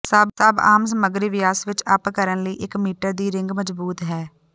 ਸਭ ਆਮ ਸਮੱਗਰੀ ਵਿਆਸ ਵਿੱਚ ਅੱਪ ਕਰਨ ਲਈ ਇੱਕ ਮੀਟਰ ਦੀ ਰਿੰਗ ਮਜਬੂਤ ਹੈ